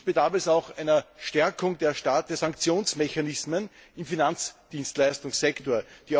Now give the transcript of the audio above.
Schließlich bedarf es auch einer Stärkung der Sanktionsmechanismen im Finanzdienstleistungssektor.